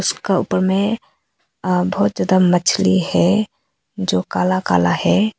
इसका उपर में आ बहुत ज्यादा मछली है जो काला काला है।